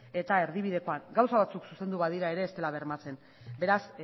eta erdibidekoan gauza batzuk zuzendu badira ere ez dela bermatzen beraz